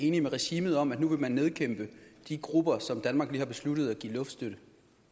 enige med regimet om at de nu vil nedkæmpe de grupper som danmark lige har besluttet at give luftstøtte